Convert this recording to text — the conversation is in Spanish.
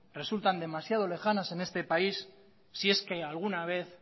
resultan demasiado lejanas en este país si es que alguna vez